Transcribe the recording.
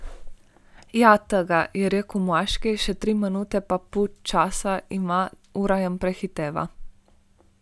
Ja, tega, je rekel moški, še tri minute pa pol časa ima, ura jim prehiteva.